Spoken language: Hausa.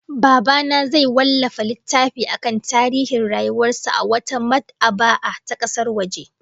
Baba na zai wallafa littafi akan tarihin rayuwar sa a wata mad'aba'a ta kasar waje